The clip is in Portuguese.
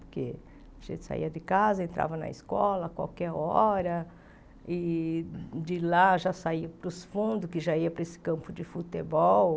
Porque a gente saía de casa, entrava na escola a qualquer hora, e de lá já saía para os fundos, que já ia para esse campo de futebol.